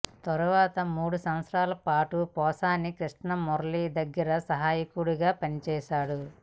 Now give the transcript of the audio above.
తరువాత మూడు సంవత్సరాల పాటు పోసాని కృష్ణమురళి దగ్గర సహాయకుడిగా పనిచేశాడు